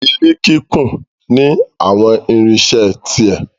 Ilé kíkún ní àwọn irinṣẹ́ ti ẹ̀.